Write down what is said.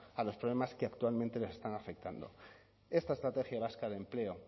a los problemas que actualmente les están afectando esta estrategia vasca de empleo